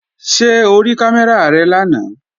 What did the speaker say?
Ṣé o rí kámẹ́rà rẹ lánàá?